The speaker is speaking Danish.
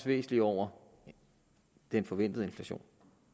væsentlig over den forventede inflation